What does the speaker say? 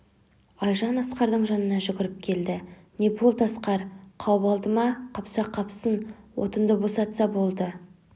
айжан асқардың жанына жүгіріп келді не болды асқар қауып алды ма қапса қапсын отынды босатса болды